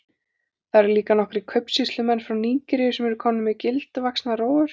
Þar eru líka nokkrir kaupsýslumenn frá Nígeríu sem eru komnir með gildvaxnar rófur.